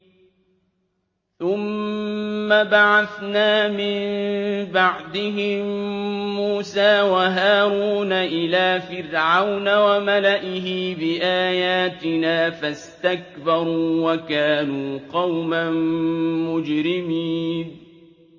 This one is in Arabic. ثُمَّ بَعَثْنَا مِن بَعْدِهِم مُّوسَىٰ وَهَارُونَ إِلَىٰ فِرْعَوْنَ وَمَلَئِهِ بِآيَاتِنَا فَاسْتَكْبَرُوا وَكَانُوا قَوْمًا مُّجْرِمِينَ